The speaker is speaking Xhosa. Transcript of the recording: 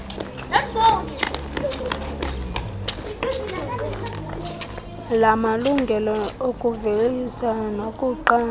lamalungelo okuvelisa nokuqamba